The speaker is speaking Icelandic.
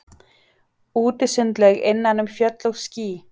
Útisundlaug innan um fjöll og ský.